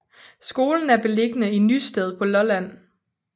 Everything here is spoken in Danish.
Skolen er beliggende i Nysted på Lolland